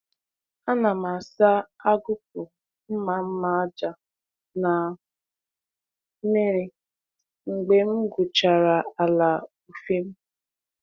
A na m asa agụkpụ mma mma aja na mmiri mgbe m gwuchara ala ufiem.